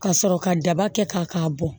Ka sɔrɔ ka daba kɛ k'a k'a bɔn